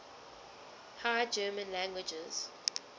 high german languages